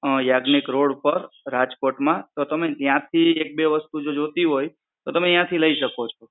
Yagnik road પર રાજકોટ માં. તો તમે ત્યાંથી એક બે વસ્તુ જો જોઈતી હોય તો તમે ત્યાંથી લઈ શકો છો.